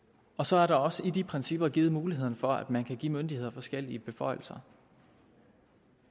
og så er der også i de principper givet muligheder for at man kan give myndigheder forskellige beføjelser